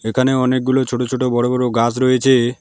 এখানে অনেকগুলো ছোট ছোট বড় বড় গাস রয়েছে।